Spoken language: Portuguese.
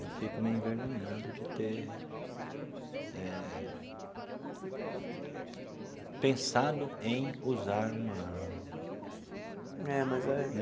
Eu fico meio envergonhado de ter eh pensado em usar uma arma. É, mas é.